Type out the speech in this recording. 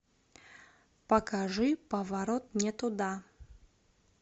покажи поворот не туда